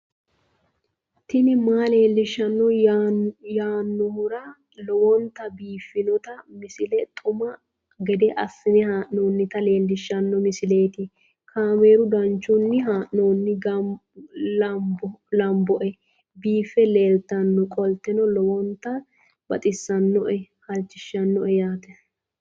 tini maa leelishshanno yaannohura lowonta biiffanota misile xuma gede assine haa'noonnita leellishshanno misileeti kaameru danchunni haa'noonni lamboe biiffe leeeltannoqolten lowonta baxissannoe halchishshanno yaate